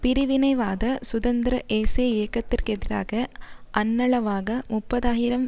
பிரிவினைவாத சுதந்திர ஏசே இயக்கத்திற்கெதிராக அண்ணளவாக முப்பது ஆயிரம்